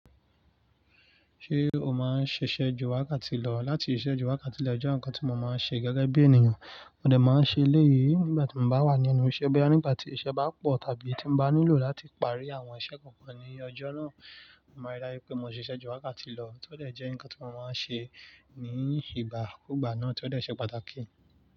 Ṣé o máa ń ṣiṣẹ́ ju wákàtí lọ? Láti iṣẹ́ ju wákàtí lọ jẹ́ ohun kan tí mo máa ń ṣe gẹ́gẹ́ bí ènìyàn. Mo dẹ̀ máa ń ṣe eléyìí nígbà tí mo bá wà ní ẹnu ìṣẹ́ bẹ́rẹ́ nígbà tí iṣẹ́ bá pọ̀ tàbí tí mo bá nílò láti parí àwọn iṣẹ́ kọ̀ọ̀kan ní ọjọ́ náà. Mo máa rí dá pé mo ṣiṣẹ́ ju wákàtí lọ, tó dẹ̀ jẹ́ ohun kan tí mo máa ń ṣe ní ìgbà kù gbá náà, tó dẹ̀ ṣe pàtàkì.